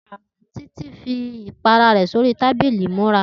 Titi fi gbógbó ipàrà rẹ sóri tàbílì imúrà